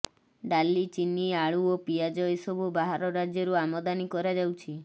ଡାଲି ଚିନି ଆଳୁ ଓ ପିଆଜ ଏସବୁ ବାହାର ରାଜ୍ୟରୁ ଆମଦାନୀ କରାଯାଉଛି